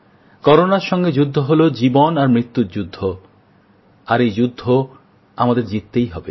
করোনার সঙ্গে যুদ্ধ হল জীবন আর মৃত্যুর যুদ্ধ আর এই যুদ্ধ আমাদের জিততেই হবে